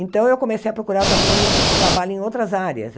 Então, eu comecei a procurar também trabalho em outras áreas.